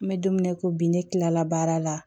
N bɛ don min na i ko bi ne tilala baara la